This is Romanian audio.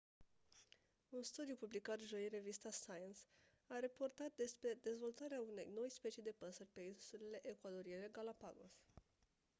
un studiu publicat joi în revista science a raportat despre dezvoltarea unei noi specii de păsări pe insulele ecuadoriene galápagos